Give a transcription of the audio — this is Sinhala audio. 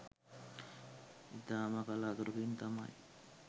ඉතාම කලාතුරකින් තමයි